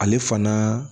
Ale fana